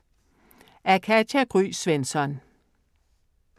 Af Katja Gry Svensson